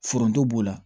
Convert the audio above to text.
Foronto b'o la